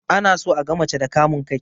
Ana so aga mace da kamun kai